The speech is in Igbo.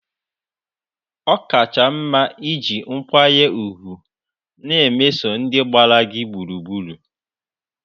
ọ kacha mma iji nkwanye ùgwù na-emeso ndị gbara gị gburugburu.